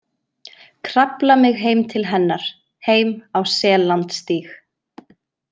Krafla mig heim til hennar, heim á Sellandsstíg.